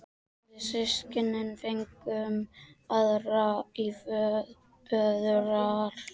Við systkinin fengum aðra í föðurarf.